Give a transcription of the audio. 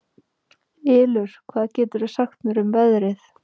Ylur, hvað geturðu sagt mér um veðrið?